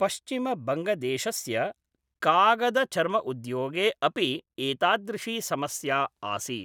पश्चिमबङ्गदेशस्य कागदचर्मउद्योगे अपि एतादृशी समस्या आसीत् ।